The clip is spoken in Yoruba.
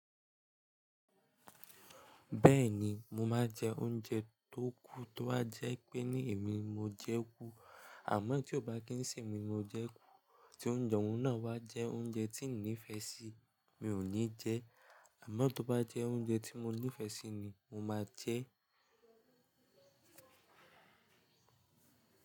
Bẹ́ẹ̀ni, mo máa jẹ oúnjẹ tó kù tó bá jẹ́ pé ní èmi mo jẹ kú. Àmọ́ tí ó bá kí ń sì mi mo jẹ kú, tí oúnjẹ náà wá jẹ́ oúnjẹ tí n nífẹ̀ẹ́ sí mi ò ní jẹ ẹ. Àmọ́ tó bá jẹ́ oúnjẹ tí mo nífẹ̀ẹ́ sí ni mo máa jẹ ẹ́